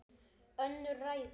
Önnur ræða.